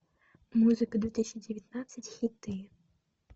музыка две тысячи девятнадцать хиты